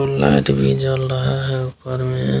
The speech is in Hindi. उ लाइट भी जल रहा है ऊपर में।